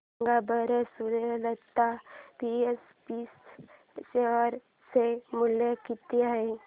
सांगा बरं Suryalata SPG share चे मूल्य किती आहे